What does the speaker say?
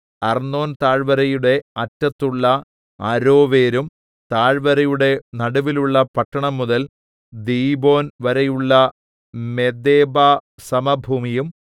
അർന്നോൻതാഴ്‌വരയുടെ അറ്റത്തുള്ള അരോവേരും താഴ്‌വരയുടെ നടുവിലുള്ള പട്ടണം മുതൽ ദീബോൻവരെയുള്ള മെദേബാ സമഭൂമിയും